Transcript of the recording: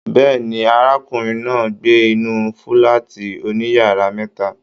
Bẹ́ẹ̀ni, arákùnrin náà n gbé inú fúlàátí òníyàrá mẹta.